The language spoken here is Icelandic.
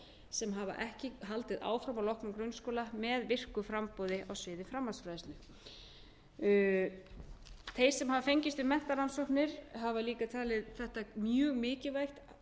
sem hafa ekki haldið áfram að loknum grunnskóla með virku framboði á sviði framhaldsfræðslu þeir sem hafa fengist við menntarannsóknir hafa líka talið þetta mjög mikilvægt